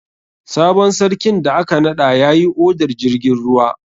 Sabon sarkin da aka naɗa yayi odar jirgin ruwa.